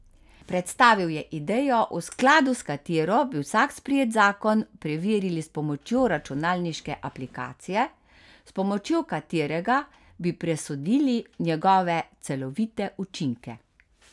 Predstavil je idejo, v skladu s katero bi vsak sprejet zakon preverili s pomočjo računalniške aplikacije, s pomočjo katerega bi presodili njegove celovite učinke.